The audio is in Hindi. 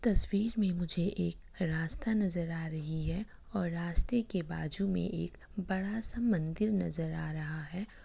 तस्वीर में मुझे एक रास्ता नजर आ रहा है और रास्ते के बाजू में एक बड़ा-सा मंदिर नजर आ रहा है।